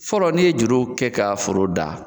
Fɔlɔ ni ye juru kɛ ka foro dan